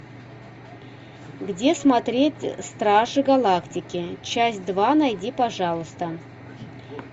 где смотреть стражи галактики часть два найди пожалуйста